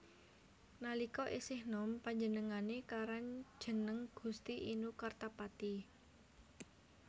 Nalika isih nom panjenengane karan jeneng Gusti Inu Kartapati